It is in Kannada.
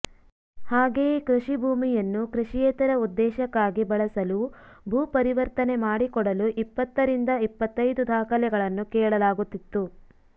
ಹಾಗೆಯೇ ಕೃಷಿ ಭೂಮಿಯನ್ನುಕೃಷಿಯೇತರ ಉದ್ದೇಶಕ್ಕಾಗಿ ಬಳಸಲುಭೂ ಪರಿವರ್ತನೆ ಮಾಡಿಕೊಡಲುಇಪ್ಪತ್ತರಿಂದ ಇಪ್ಪತ್ತೈದು ದಾಖಲೆಗಳನ್ನುಕೇಳಲಾಗುತ್ತಿತ್ತು